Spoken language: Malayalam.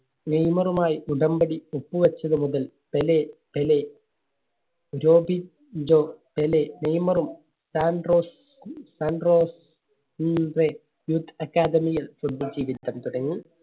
നെയ്മറുമായി ഉടമ്പടി ഒപ്പു വെച്ചതുമുതൽ പെലെ, പെലെ പെലെ നെയ്മറും സാൻട്രോസ്, സാൻട്രോസ് Youth Academy യിൽ football ജീവിതം തുടങ്ങി.